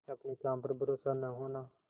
अपने काम पर भरोसा न होना